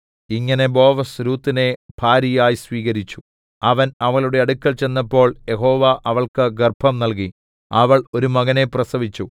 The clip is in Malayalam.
ഇങ്ങനെ ബോവസ് രൂത്തിനെ ഭാര്യയായി സ്വീകരിച്ചു അവൻ അവളുടെ അടുക്കൽ ചെന്നപ്പോൾ യഹോവ അവൾക്കു ഗർഭം നല്കി അവൾ ഒരു മകനെ പ്രസവിച്ചു